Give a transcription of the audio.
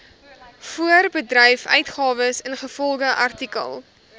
voorbedryfsuitgawes ingevolge artikel